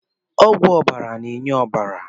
Ọgwụ ọbara na-enye ọbara